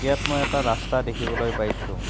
ইয়াত মই এটা ৰাস্তা দেখিবলৈ পাইছোঁ।